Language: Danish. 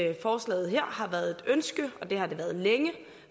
at forslaget her har været et ønske og det har det været længe